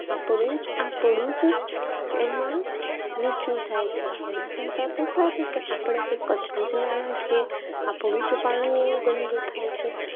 આપણને આપણું જ એમાં નીચું થાય છે એના કરતા તો સારું કે આપણે એ કચરો જ ના નાખીએ. આપણું જ પાણી એવું ગંદુ થાય છે